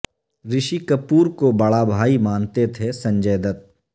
رشی کپور کو بڑا بھائی مانتے تھے سنجے دت